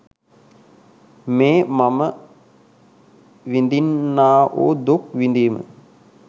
මේ මම විඳින්නා වූ දුක් විඳීම